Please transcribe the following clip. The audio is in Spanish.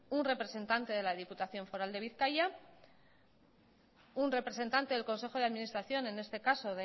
un representante de la diputación foral de bizkaia un representante del consejo de administración n este caso